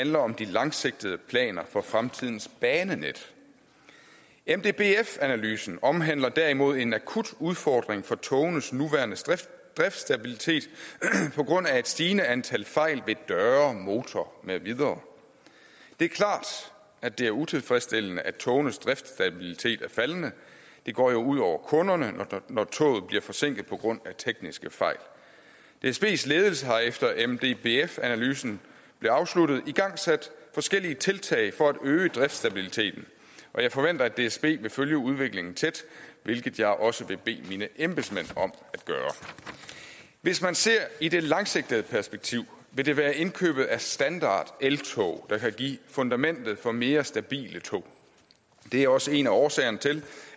handler om de langsigtede planer for fremtidens banenet mdbf analysen omhandler derimod en akut udfordring for togenes nuværende driftsstabilitet på grund af et stigende antal fejl ved døre motorer med videre det er klart at det er utilfredsstillende at togenes driftsstabilitet er faldende det går jo ud over kunderne når toget bliver forsinket på grund af tekniske fejl dsbs ledelse har efter at mdbf analysen blev afsluttet igangsat forskellige tiltag for at øge driftsstabiliteten og jeg forventer at dsb vil følge udviklingen tæt hvilket jeg også vil bede mine embedsmænd om at gøre hvis man ser i det langsigtede perspektiv vil det være indkøbet af standardeltog der kan give fundamentet for mere stabile tog det er også en af årsagerne til